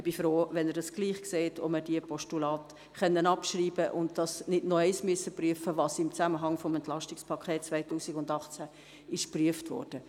Ich bin froh, wenn Sie das gleich sehen und wir die Postulate abschreiben können und nicht erneut prüfen müssen, was im Zusammenhang mit dem Entlastungspaket 2018 bereits geprüft wurde.